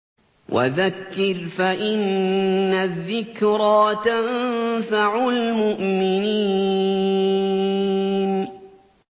وَذَكِّرْ فَإِنَّ الذِّكْرَىٰ تَنفَعُ الْمُؤْمِنِينَ